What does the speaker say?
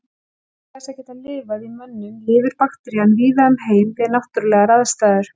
Auk þess að geta lifað í mönnum lifir bakterían víða um heim við náttúrulegar aðstæður.